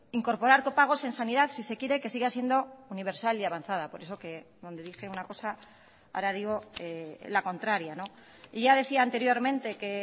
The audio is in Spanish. incorporar copagos en sanidad si se quiere que siga siendo universal y avanzada por eso que donde dije una cosa ahora digo la contraria y ya decía anteriormente que